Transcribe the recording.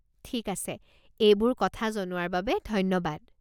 ঠিক আছে, এইবোৰ কথা জনোৱাৰ বাবে ধন্যবাদ।